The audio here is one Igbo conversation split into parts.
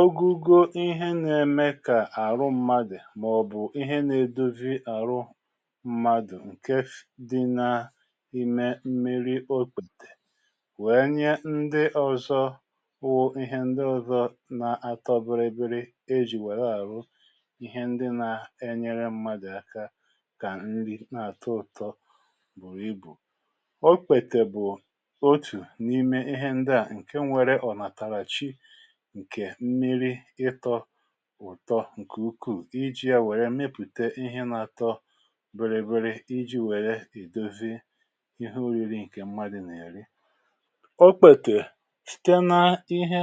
ọgụgụ ihe nà-ème kà àrụ mmadụ̀ mà ọ̀ bụ̀ ihe nà-edozi àrụ mmadụ̀ ǹke dị nà ime mmi̇ri okpètè wèe nye ndị ọ̀zọ wụ ihe ndị ọ̀zọ na-atọ biri biri e jì wèe-àrụ ihe ndị nȧ-enyere mmadụ̀ aka kà nri na-àtọ ụtọ bùrù ibù okpètè bụ̀ otù n’ime ihe ndị à ǹke nwere ọ̀nàtàràchi ǹkè mmiri ịtọ ụ̀tọ ǹkè ukwuù i ji wee nwepùte ihe nȧ-ȧtọ̇ biri biri iji̇ wèrè ìdozi ihe ȯri̇ri̇ ǹkè mmadị̇ nà-èri okpètè síté na ihe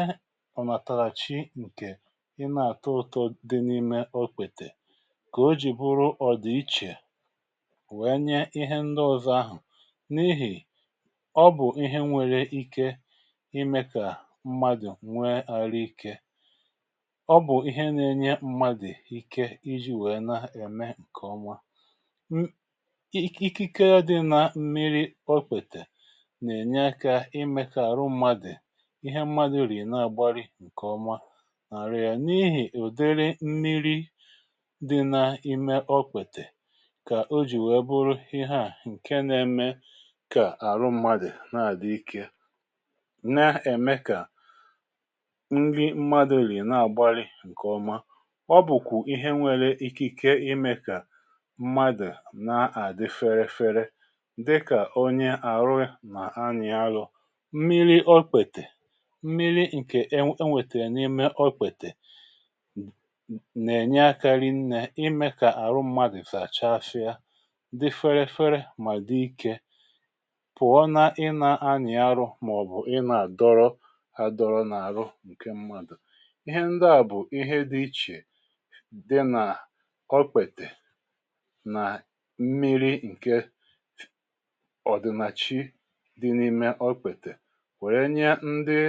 ọ̀ nàtàhàchi ǹkè i nà-àtọ ụtọ dị n’ime okpètè kà o jì bụrụ ọ̀dị̀ichè wèe nye ihe ndị ọ̀zọ ahụ̀ n’ihì ọ bụ̀ ihe nwèrè ike ime ka mmadu nwee aru ike ọ bụ̀ ihe n’enye mmadụ̀ ike iji̇ wèe na-ème ǹkèọma n ikike dị n’mmiri okwètè nà-ènye aka imė kà àrụ mmadụ̀ ihe mmadụ rì na-agbari ǹkèọma nà arị̀ yà n’ihì ùdere mmiri dị na-ime okwètè kà o jì wèe bụrụ ihe a ǹke na-ème kà àrụ mmadụ̀ na-àdị ike na-ème kà nri mmadu riri na agbari nke oma ọ bụ̀kwụ̀ ihe nwėrė ikike imė kà mmadụ̀ na-àdị ferefere dịkà onye àrụ ya nà anyi-àrụ mmiri ọkpètè mmiri ǹkè enwètèrè n’ime ọkpètè nà-ènye akȧ rị nnė imė kà àrụ mmadụ̀ zàchafịa dị ferefere mà dị ikė pụ̀ọ na ị na-anyì arụ maobu i na aduru aduru na aru ihe ndị à bụ̀ ihe dị ichè dị nà okpètè nà mmiri ǹke ọ̀dị̀nàchị dị n’ime okwètè wère nye ndị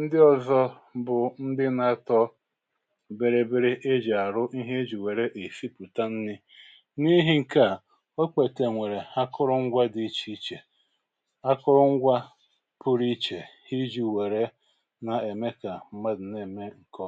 ndị ọ̇zọ̇ bụ̀ ndị nȧ-atọ bírí bírí e jì àrụ ihe e jì wère è sipùta nri n’ihi̇ ǹke à okwètè nwèrè akụrụ ngwȧ dị ichè ichè akụrụ ngwȧ pụrụ ichè iji̇ wèrè na eme ka mmadu na eme ǹkè ọ̀